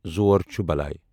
زور چُھ بلاے